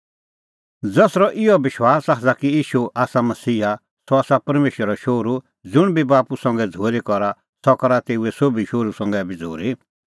ज़सरअ इहअ विश्वास आसा कि ईशू आसा मसीहा सह आसा परमेशरो शोहरू ज़ुंण बी बाप्पू संघै झ़ूरी करा सह करा तेऊए सोभी शोहरू संघै बी झ़ूरी